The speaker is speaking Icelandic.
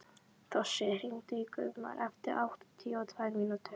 Þossi, hringdu í Guðmar eftir áttatíu og tvær mínútur.